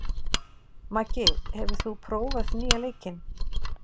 Maggi, hefur þú prófað nýja leikinn?